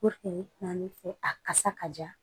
fɛ a kasa ka ja